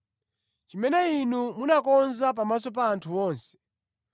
chimene Inu munakonza pamaso pa anthu onse,